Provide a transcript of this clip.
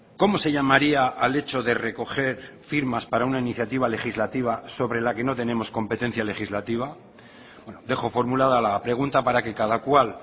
cómo se llamaría al hecho de recoger firmas para una iniciativa legislativa sobre la que no tenemos competencia legislativa dejo formulada la pregunta para que cada cual